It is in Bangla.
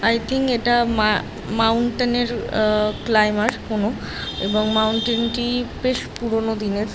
আই থিং এটা মা মাউণ্টেন এর আ ক্লাইমার কোন এবং মাউণ্টেন টি বেশ পুরনো দিনের।